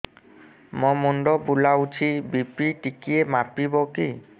ମୋ ମୁଣ୍ଡ ବୁଲାଉଛି ବି.ପି ଟିକିଏ ମାପିବ କି